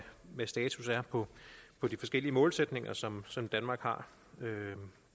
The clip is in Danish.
status er på de forskellige målsætninger som som danmark har